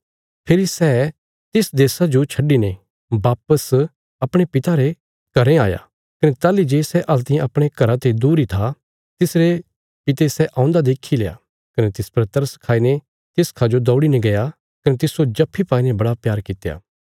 फेरी सै तिस देशा जो छड्डिने वापस अपणे पिता रे घरें आया कने ताहली जे सै हल्तियें अपणे घरा ते दूर इ था तिसरे पिता सै औन्दा देखील्या कने तिस पर तरस खाईने तिसखा जो दौड़ीने गया कने तिस्सो जप्फी पाईने बड़ा प्यार कित्या